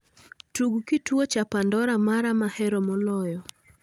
Tug kituo cha pandora mara mahero moloyo